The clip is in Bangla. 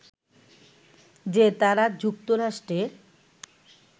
যে তারা যুক্তরাষ্ট্রের